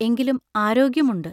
എങ്കിലും ആരോഗ്യമുണ്ട്.